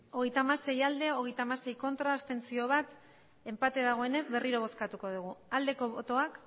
hogeita hamasei bai hogeita hamasei ez bat abstentzio enpate dagoenez berriro bozkatuko dugu aldeko botoak